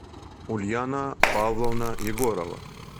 ульяна павловна егорова